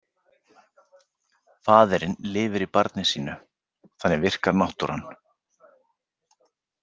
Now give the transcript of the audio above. Faðirinn lifir í barni sínu, þannig virkar náttúran.